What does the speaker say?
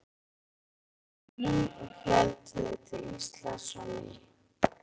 Stærra skipið var hlaðið nauðsynjum og héldu þeir til Íslands á ný.